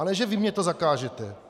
A ne že vy mě to zakážete!